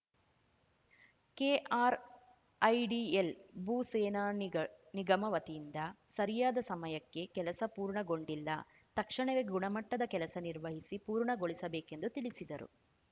KRIDL ಭೂ ಸೇನಾ ನಿಗಳ್ ನಿಗಮ ವತಿಯಿಂದ ಸರಿಯಾದ ಸಮಯಕ್ಕೆ ಕೆಲಸ ಪೂರ್ಣಗೊಂಡಿಲ್ಲ ತಕ್ಷಣವೇ ಗುಣಮಟ್ಟದ ಕೆಲಸ ನಿರ್ವಹಿಸಿ ಪೂರ್ಣಗೊಳಿಸಬೇಕೆಂದು ತಿಳಿಸಿದರು